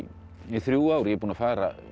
þrjú ár ég er búinn að fara